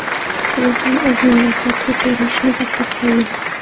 Telefon o‘zining dastlabki ko‘rinishini saqlab qoldi.